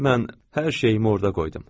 Mən hər şeyimi orada qoydum.